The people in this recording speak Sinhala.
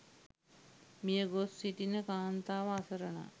මියගොස් සිටින කාන්තාව අසරණයි.